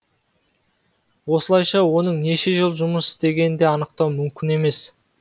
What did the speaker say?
осылайша оның неше жыл жұмыс істегенін де анықтау мүмкін емес